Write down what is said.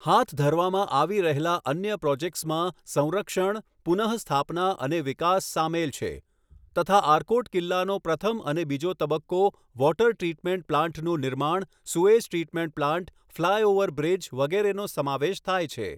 હાથ ધરવામાં આવી રહેલા અન્ય પ્રોજેક્ટ્સમાં સંરક્ષણ, પુન: સ્થાપના અને વિકાસ સામેલ છે તથા આરકોટ કિલ્લાનો પ્રથમ અને બીજો તબક્કો વોટર ટ્રીટમેન્ટ પ્લાન્ટનું નિર્માણ sewage treatment plant flyover bridge, વગેરેનો સમાવેશ થાય છે.